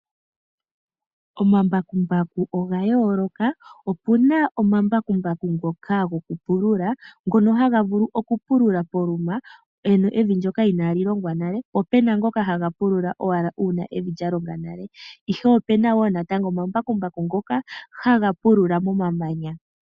Omambakumbaku oga yoolokathana. Opu na ngoka gokupulula na oha ga vulu okupulula poluma mpo pu na evi inaali longwa nale. Opu na ngoka ha ga pulula uuna evi lya longwa nale. Opu na woo ngoka haga pulula momamanya.